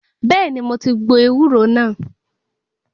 Bẹ́ẹ̀ni, mo ti gbo ewúro náà.